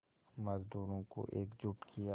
मज़दूरों को एकजुट किया